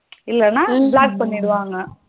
இல்லனா block பண்ணிடுவாங்க.